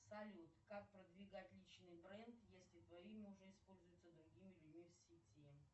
салют как продвигать личный бренд если твое имя уже используется другими людьми в сети